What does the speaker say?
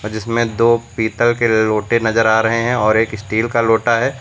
जिसमें दो पीतल के लोटे नजर आ रहे हैं और एक स्टील का लोटा है।